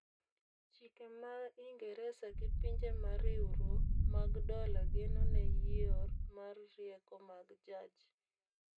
chike ma ingereza gi pinje mariwrwo mag dola geno ne yieor mar rieko mag jaj